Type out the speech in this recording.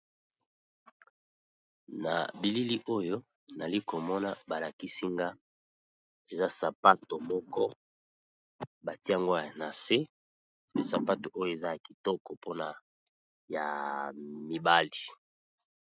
Na bilili oyo nali ko mona ba lakisi nga eza sapato moko ba tiango na se. Sapato oyo eza ya kitoko mpona ya mibali.